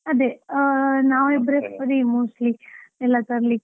ಅದೇ, ನಾವಿಬ್ಬರೇ ಸರಿ mostly ಎಲ್ಲಾ ತರ್ಲಿಕ್ಕೆ?